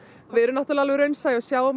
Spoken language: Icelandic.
við erum náttúurlega alveg raunsæ og sjáum